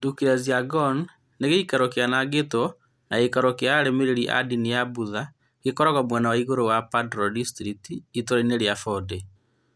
Drukgyal Dzong nĩ gĩikaro kĩanangĩtwo na gĩikaro kĩa arũmĩrĩri a ndini ya Buddha gĩkoragwo mwena wa igũrũ wa Paro District (itũũra-inĩ rĩa Phondey).